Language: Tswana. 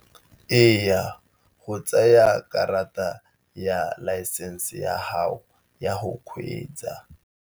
Eya go tsaya karata ya laesense ya gago ya go kgweetsa.